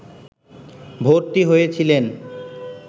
ভর্তি হয়েছিলেন